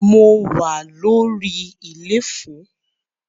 Mo wà lórí iléfo.